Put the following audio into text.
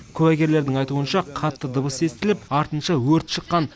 куәгерлердің айтуынша қатты дыбыс естіліп артынша өрт шыққан